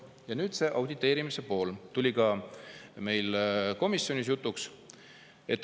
Ja see auditeerimise pool tuli ka meil komisjonis jutuks.